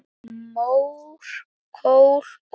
Mór, kol, olía